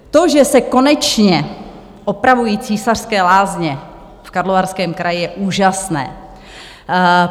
To, že se konečně opravují Císařské lázně v Karlovarském kraji, je úžasné.